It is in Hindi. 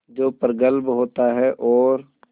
जो प्रगल्भ होता है और